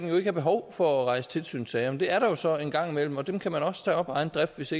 have behov for at rejse tilsynssager men det er der jo så en gang imellem og dem kan man også tage op af egen drift hvis